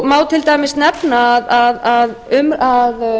má til dæmis nefna að